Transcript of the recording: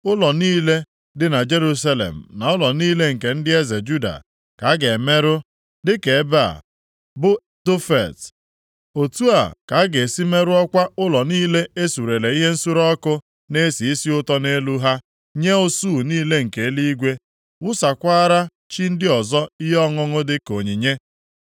Ụlọ niile dị na Jerusalem na ụlọ niile nke ndị eze Juda ka a ga-emerụ dịka ebe a, bụ Tofet, otu a ka a ga-esi merụọkwa ụlọ niile a suree ihe nsure ọkụ na-esi isi ụtọ nʼelu ha nye usuu niile nke eluigwe, wụsakwara chi ndị ọzọ ihe ọṅụṅụ dịka onyinye.’ ”